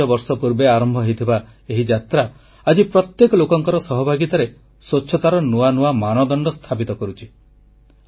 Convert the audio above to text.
ପାଂଚବର୍ଷ ପୂର୍ବେ ଆରମ୍ଭ ହୋଇଥିବା ଏହି ଯାତ୍ରା ଆଜି ପ୍ରତ୍ୟେକ ଲୋକଙ୍କ ସହଭାଗିତାରେ ସ୍ୱଚ୍ଛତାର ନୂଆ ନୂଆ ମାନଦଣ୍ଡ ସ୍ଥାପିତ କରୁଛି